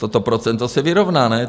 To procento se vyrovná, ne?